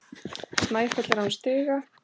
Snæfell er án stiga.